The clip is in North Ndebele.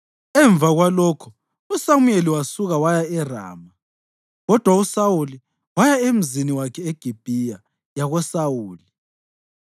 Emva kwalokho uSamuyeli wasuka waya eRama, kodwa uSawuli waya emzini wakhe eGibhiya yakoSawuli.